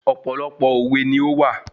Ọ̀pọ̀lọpọ̀ òwe ni ówà